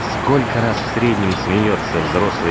сколько раз в среднем смеётся взрослый